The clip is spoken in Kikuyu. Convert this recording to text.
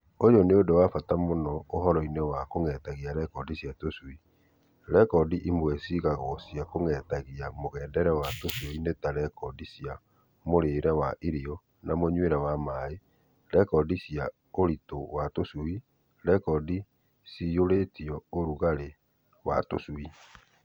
Uyũ nĩũndũ wa bata mũno ũhoro-inĩ wa kũng'etagia mũgendere wa tũcui. Rekondi imwe cigagwo cia kũng'etagia mũgendere wa tũcui nĩ ta rekondi cia mũrĩre wa irio na mũnyuĩre wa maaĩ, rekondi cia ũritũ wa tũcui, rekondi ciyũrĩtio ũrugarĩ wa tũcui